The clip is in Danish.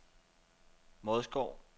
Vodskov